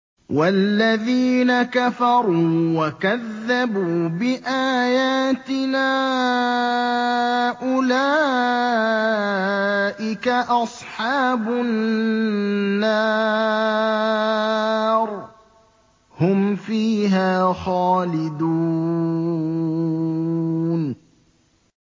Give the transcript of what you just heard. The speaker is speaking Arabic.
وَالَّذِينَ كَفَرُوا وَكَذَّبُوا بِآيَاتِنَا أُولَٰئِكَ أَصْحَابُ النَّارِ ۖ هُمْ فِيهَا خَالِدُونَ